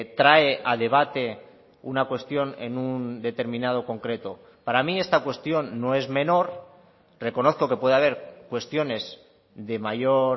trae a debate una cuestión en un determinado concreto para mí esta cuestión no es menor reconozco que puede haber cuestiones de mayor